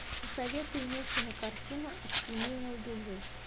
посоветуй мне кинокартину от семьи не убежишь